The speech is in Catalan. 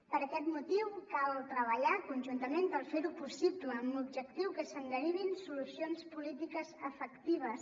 per aquest motiu cal treballar conjuntament per fer ho possible amb l’objectiu que se’n derivin solucions polítiques efectives